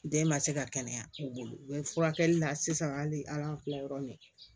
N den ma se ka kɛnɛya u bolo u ye furakɛli la sisan hali a kila yɔrɔ min